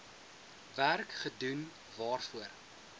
werk gedoen waarvoor